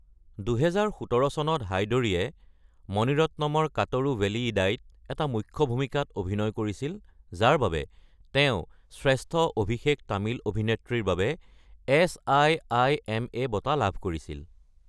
২০১৭ চনত হায়দৰীয়ে মণি ৰত্নমৰ কাতৰু ভেলীয়িদাইত এটা মূখ্য ভূমিকাত অভিনয় কৰিছিল, যাৰ বাবে তেওঁ শ্ৰেষ্ঠ অভিষেক তামিল অভিনেত্ৰীৰ বাবে এছ.আই.আই.এম.এ বঁটা লাভ কৰিছিল।